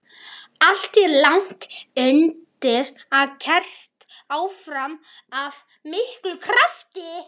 Allt er lagt undir og keyrt áfram af miklum krafti.